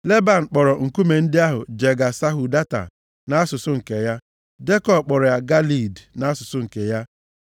Leban kpọrọ nkume ndị ahụ Jega-Sahaduta, nʼasụsụ nke ya. Jekọb kpọrọ ya Galeed, nʼasụsụ nke ya.